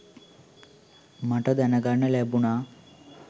මට දැනගන්න ලැබුණා.